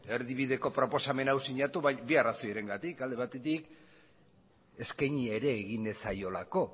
erdibideko proposamen hau sinatu bi arrazoirengatik alde batetik eskaini ere egin ez zaiolako